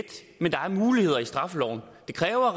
men der er muligheder i straffeloven det kræver